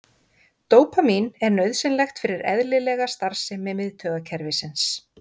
Dópamín er nauðsynlegt fyrir eðlilega starfsemi miðtaugakerfisins.